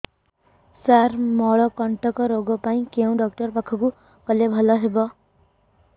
ସାର ମଳକଣ୍ଟକ ରୋଗ ପାଇଁ କେଉଁ ଡକ୍ଟର ପାଖକୁ ଗଲେ ଭଲ ହେବ